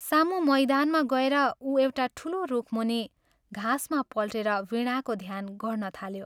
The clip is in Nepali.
सामु मैदानमा गएर उ एउटा ठूलो रुखमुनि घाँसमा पल्टेर वीणाको ध्यान गर्न थाल्यो।